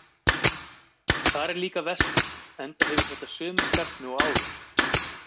Þar er líka vestur, enda gefur þetta sömu stefnu og áður.